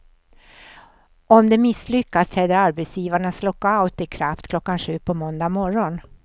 Om de misslyckas träder arbetsgivarnas lockout i kraft klockan sju på måndag morgon.